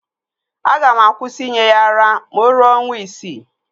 Aga m akwụsị inye ya ara ma o ruo ọnwa isii